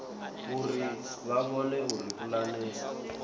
uri vha vhone uri pulane